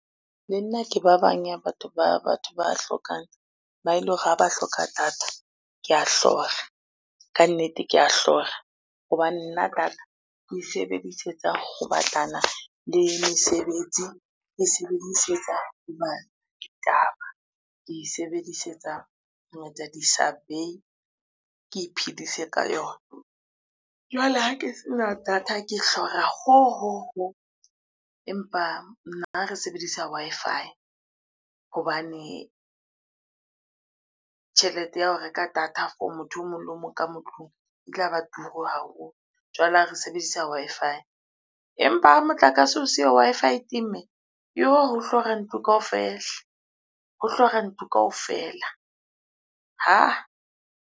Le nna ke ba bang ya batho ba hlokang, ba ele hore ha ba hloka data ke a hlora kannete, kea hlora. Hobane nna data ke e sebedisetsa ho batlana le mesebetsi, ke e sebedisetsa ho bala ditaba, ke e sebedisetsa ho etsa di-survey ke iphedise ka yona. Jwale ha ke se na data, ke hlora ho! ho! ho! empa nna re sebedisa Wi-Fi hobane, tjhelete ya ho reka data for motho o mong le o mong ka mo tlung e tlaba turu haholo jwale ha re sebedisa Wi-Fi. Empa ha motlakase o siyo Wi-Fi e temile, yoh ho hlora ntlo kaofela ho hlora ntlo kaofela hah!